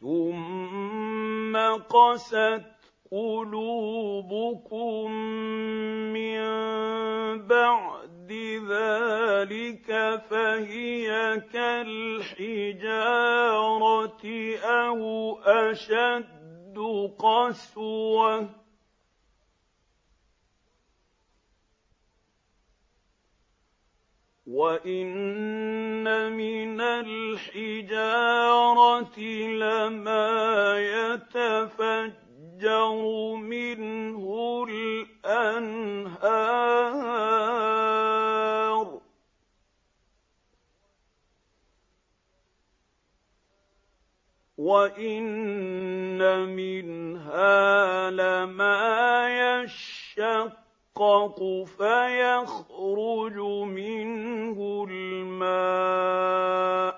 ثُمَّ قَسَتْ قُلُوبُكُم مِّن بَعْدِ ذَٰلِكَ فَهِيَ كَالْحِجَارَةِ أَوْ أَشَدُّ قَسْوَةً ۚ وَإِنَّ مِنَ الْحِجَارَةِ لَمَا يَتَفَجَّرُ مِنْهُ الْأَنْهَارُ ۚ وَإِنَّ مِنْهَا لَمَا يَشَّقَّقُ فَيَخْرُجُ مِنْهُ الْمَاءُ ۚ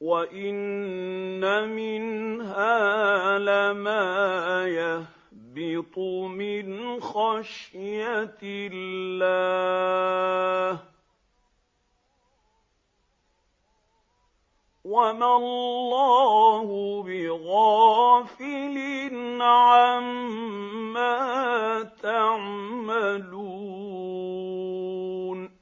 وَإِنَّ مِنْهَا لَمَا يَهْبِطُ مِنْ خَشْيَةِ اللَّهِ ۗ وَمَا اللَّهُ بِغَافِلٍ عَمَّا تَعْمَلُونَ